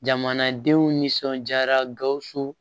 Jamanadenw nisɔndiyara gawusu